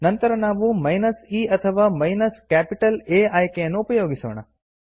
ನಂತರ ನಾವು minus e ಅಥವಾ ಮೈನಸ್ ಕ್ಯಾಪಿಟಲ್ A ಆಯ್ಕೆಯನ್ನು ಉಪಯೋಗಿಸೋಣ